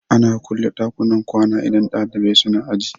Ana kulle ɗakunan kwana idan ɗalibai suna aji